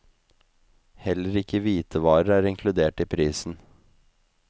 Heller ikke hvitevarer er inkludert i prisen.